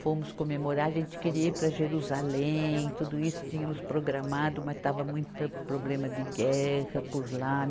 Fomos comemorar, a gente queria ir para Jerusalém, tudo isso tínhamos programado, mas estava muita problema de guerra por lá.